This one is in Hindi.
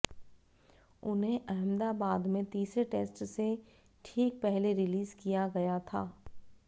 उन्हें अहमदाबाद में तीसरे टेस्ट से ठीक पहले रिलीज किया गया था